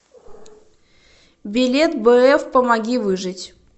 билет бф помоги выжить